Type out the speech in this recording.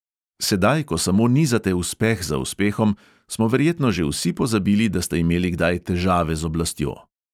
Sedaj, ko samo nizate uspeh za uspehom, smo verjetno že vsi pozabili, da ste imeli kdaj težave z oblastjo.